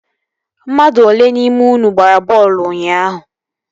Mmadụ olee n'ime unu gbara bọọlụ ụnyaahụ?